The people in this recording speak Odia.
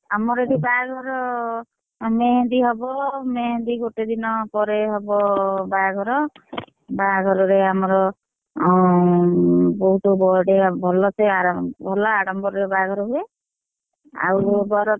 ଆମର ଏଠି ବାହାଘର ମେହେନ୍ଦୀ ହବ ମେହେନ୍ଦୀ ଗୋଟେ ଦିନ ପରେ ହବ ବାହାଘର, ବାହାଘରରେ ଆମର, ଅଁ ବହୁତ ବଢିଆ ଭଲସେ ~ଆଡ ଭଲ ଆଡମ୍ବରରେ ବାହାଘର ହୁଏ। ଆଉ ବର ତ,